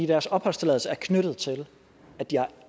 deres opholdstilladelse er knyttet til at de